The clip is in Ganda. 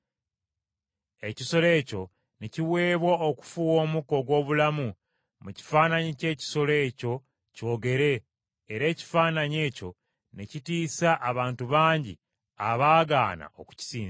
Ekisolo ekyo ne kiweebwa okufuuwa omukka ogw’obulamu mu kifaananyi ky’ekisolo ekyo kyogere, era ekifaananyi ekyo ne kittisa abantu bangi abaagaana okukisinza.